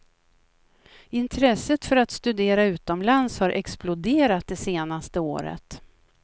Intresset för att studera utomlands har exploderat det senaste året.